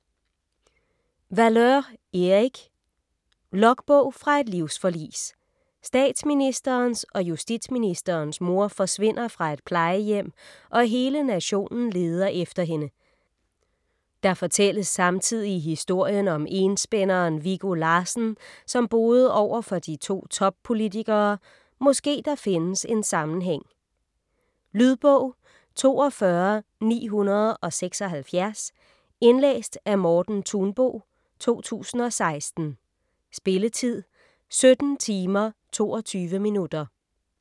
Valeur, Erik: Logbog fra et livsforlis Statsministerens og justitsministerens mor forsvinder fra et plejehjem og hele nationen leder efter hende. Der fortælles samtidig historien om enspænderen Viggo Larssen som boede overfor de to toppolitikere, måske der findes en sammenhæng. Lydbog 42976 Indlæst af Morten Thunbo, 2016. Spilletid: 17 timer, 22 minutter.